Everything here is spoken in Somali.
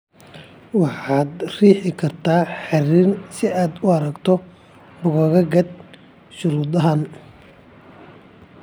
Waxaad riixi kartaa xiriirinta si aad u aragto boggaga GARD ee shuruudahan.